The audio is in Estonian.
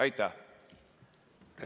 Aitäh!